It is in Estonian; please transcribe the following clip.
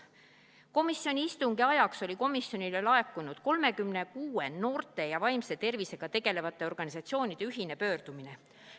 Komisjoni istungi ajaks oli komisjonile laekunud 36 noorte ja vaimse tervisega tegelevate organisatsioonide ühine pöördumine.